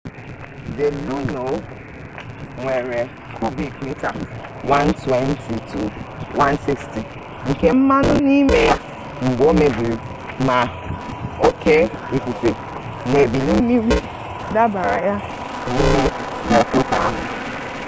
the luno nwere kubik mita 120-160 nke mmanụ n'ime ya mgbe o mebiri ma oke ifufe na ebili mmiri dubara ya n'ime brekwọta ahụ